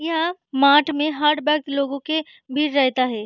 यह माट में हर वक्त लोगे के भीर रेहता है।